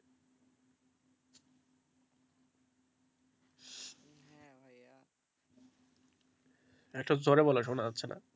একটু জোরে বলো শোনা যাচ্ছে না.